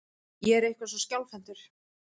Ég er eitthvað svo skjálfhentur.